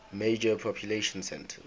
major population centers